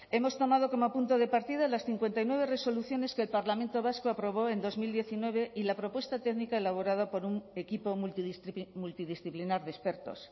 hemos tomado como punto de partida las cincuenta y nueve resoluciones que el parlamento vasco aprobó en dos mil diecinueve y la propuesta técnica elaborada por un equipo multidisciplinar de expertos